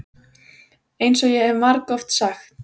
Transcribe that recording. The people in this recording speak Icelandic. EINS OG ÉG HEF MARGOFT SAGT.